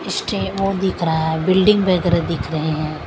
इश्टे वो दिख रहा है बिल्डिंग वगैरह दिख रहे हैं।